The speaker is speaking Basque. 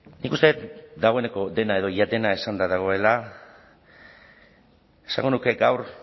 nik uste dut dagoeneko dena edo ia dena esanda dagoela esango nuke gaur